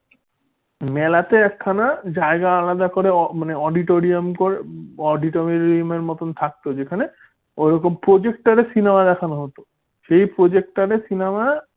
মেলাতে একখানা জায়গা আলাদা করে auditorium করে auditorium এর মত থাকতো যেখানে projector র cinema দেখানো হতো সেই projector রে cinema